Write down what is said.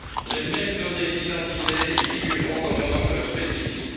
Les mêmes données d'identité y figureront dans un ordre spécifique.